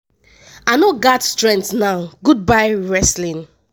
i no gat strength now goodbye wrestling (2001-2024).